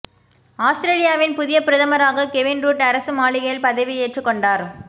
ஆஸ்திரேலியாவின் புதிய பிரதமராக கெவின் ரூட் அரசு மாளிகையில் பதவியேற்று கொண்டார்